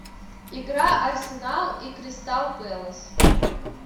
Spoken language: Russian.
игра арсенал и кристал пэлас